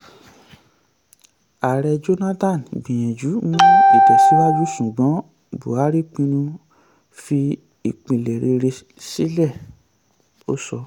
ààrẹ jonathan gbìyànjú mú ìtẹ̀síwájú ṣùgbọ́n buhari pinnu fi ìpìlẹ̀ rere sílẹ̀" - ó sọ.